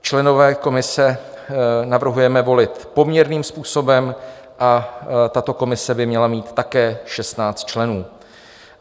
Členy komise navrhujeme volit poměrným způsobem a tato komise by měla mít také 16 členů.